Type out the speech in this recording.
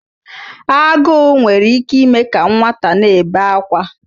Agụụ nwere ike ime ka nwata na-ebe akwa.